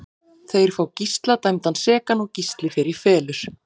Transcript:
Þeir fá Gísla dæmdan sekan og Gísli fer í felur.